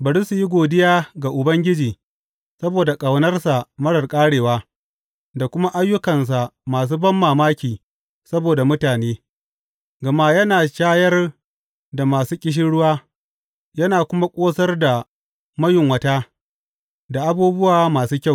Bari su yi godiya ga Ubangiji saboda ƙaunarsa marar ƙarewa da kuma ayyukansa masu banmamaki saboda mutane, gama yana shayar da masu ƙishirwa yana kuma ƙosar da mayunwata da abubuwa masu kyau.